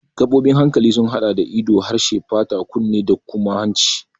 Gaɓoɓin hankali sun haɗa da ido, harshe, fata, kunne da kuma hanci.